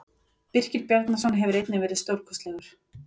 Birkir Bjarnason hefur einnig verið stórkostlegur.